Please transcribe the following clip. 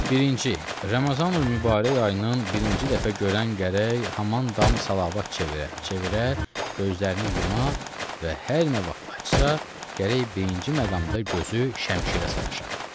Birinci, Ramazanül Mübarək ayının birinci dəfə görən gərək haman dam salavat çevirə, çevirə gözlərini yuma və hər nə vaxt açsa, gərək birinci məqamda gözü şəmişirə sataşa.